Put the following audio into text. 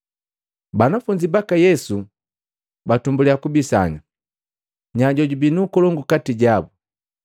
Banafunzi baka Yesu batumbuliya kubisana nya jojubii nkolongu kati jabu.